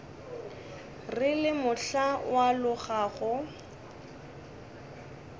re le mohla o alogago